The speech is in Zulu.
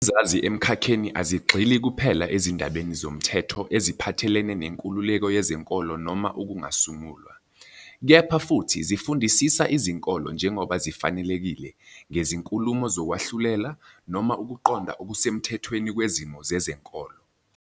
Izazi emkhakheni azigxili kuphela ezindabeni zomthetho eziphathelene nenkululeko yezenkolo noma ukungasungulwa, kepha futhi zifundisisa izinkolo njengoba zifanelekile ngezinkulumo zokwahlulela noma ukuqonda okusemthethweni kwezimo zezenkolo.